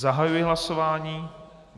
Zahajuji hlasování.